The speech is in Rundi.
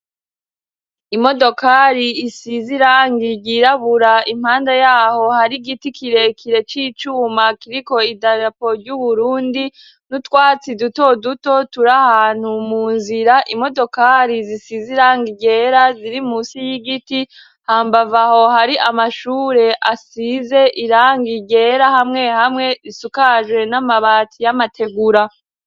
Imodokari isize irangi ryirabura. Impande yaho hari igiti kirekire c'icuma kiriko idarapo y'uburundi, n'utwatsi duto duto turi ahantu mu nzira. Imodokari zisize irangi ryera ziri musi y'igiti. Hambavu aho hari amashure asize irangi ryera hamwe hamwe, zisukajwe n'amabati y'amategura